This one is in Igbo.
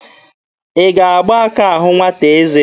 Ị ga-agba aka ahụ nwata eze?